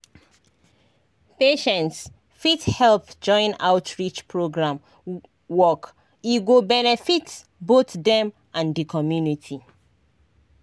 patients fit help join outreach program work e go benefit both dem and di community.